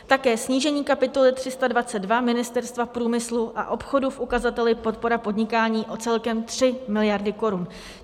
Také snížení kapitoly 322 Ministerstva průmyslu a obchodu v ukazateli podpora podnikání o celkem 3 miliardy korun.